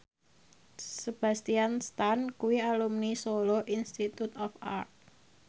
Sebastian Stan kuwi alumni Solo Institute of Art